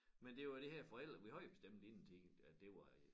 Men det var det her forældre vi havde bestemt inden tid at det var øh